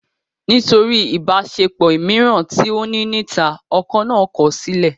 Nítorí ìbáṣepọ̀ mìíràn tí ó ní níta, ọkọ náà kọ̀ sílẹ̀